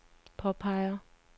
påpeger